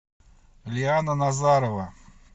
лиана назарова